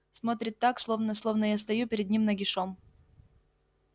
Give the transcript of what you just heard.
смотрит так словно словно я стою перед ним нагишом